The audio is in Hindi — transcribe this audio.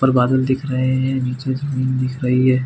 ऊपर बादल दिख रहै है नीचे जमीन दिख रही हैं।